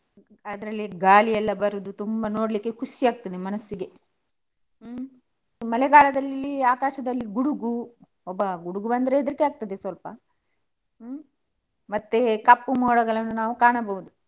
ಅದ್ರಲ್ಲಿ ಗಾಳಿಯೆಲ್ಲಾ ಬರುದು ತುಂಬಾ ನೋಡ್ಲಿಕ್ಕೆ ಖುಷಿ ಆಗ್ತದೆ ಮನಸ್ಸಿಗೆ. ಹ್ಮ್ ಮಳೆಗಾಲದಲ್ಲಿ ಆಕಾಶದಲ್ಲಿ ಗುಡುಗು ಅಬ್ಬ ಗುಡುಗು ಬಂದ್ರೆ ಹೆದ್ರಿಕೆ ಆಗ್ತದೆ ಸ್ವಲ್ಪ. ಹ್ಮ್ ಮತ್ತೆ ಕಪ್ಪು ಮೋಡಗಳನ್ನು ನಾವು ಕಾಣಬಹುದು.